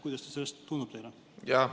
Kuidas see tundub teile?